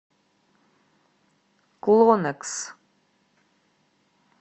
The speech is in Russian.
клонекс